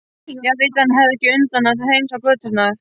Jarðýtan hafði ekki undan að hreinsa göturnar.